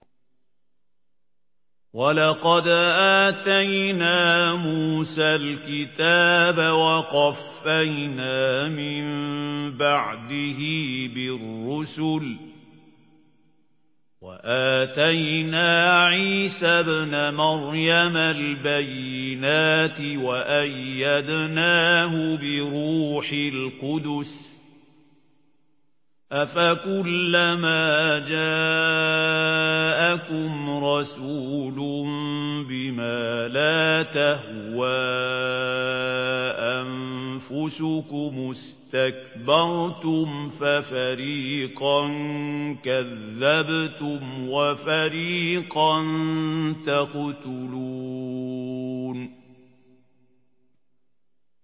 وَلَقَدْ آتَيْنَا مُوسَى الْكِتَابَ وَقَفَّيْنَا مِن بَعْدِهِ بِالرُّسُلِ ۖ وَآتَيْنَا عِيسَى ابْنَ مَرْيَمَ الْبَيِّنَاتِ وَأَيَّدْنَاهُ بِرُوحِ الْقُدُسِ ۗ أَفَكُلَّمَا جَاءَكُمْ رَسُولٌ بِمَا لَا تَهْوَىٰ أَنفُسُكُمُ اسْتَكْبَرْتُمْ فَفَرِيقًا كَذَّبْتُمْ وَفَرِيقًا تَقْتُلُونَ